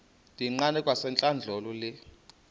ndiyiqande kwasentlandlolo le